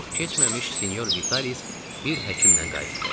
Çox keçməmiş sinyor Vitalis bir həkimlə qayıtdı.